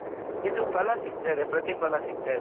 ಇದು ಫಲ ಸಿಕ್ತದೆ ಪ್ರತಿಫಲ ಸಿಗ್ತಾ ಇದೆ ಅವರು